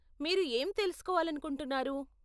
మీరు ఏం తెలుసుకోవాలనుకుంటున్నారు?